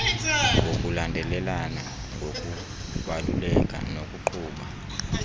ngokulandelelana ngokubaluleka nokuqhuba